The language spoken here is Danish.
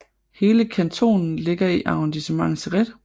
Hele kantonen ligger i Arrondissement Céret